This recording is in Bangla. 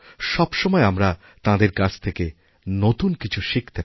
সব সময়আমরা তাঁদের কাছ থেকে নতুন কিছু শিখতে পারি